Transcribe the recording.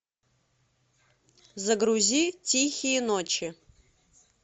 загрузи тихие ночи